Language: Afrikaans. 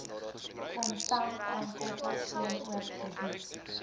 kontantaankope teenoor krediet